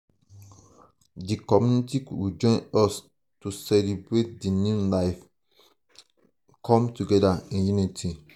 di community go join us to celebrate di new life di new life come together in unity.